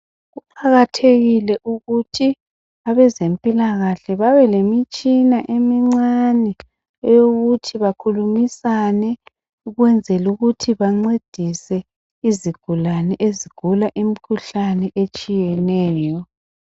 Kuqakathekile ukuthi abezempilakahle babelemitshina emincane eyokuthi bakhulumisane ukwenzela ukuthi bancedise izigulane ezigula imikhuhlane etshiyeneyo.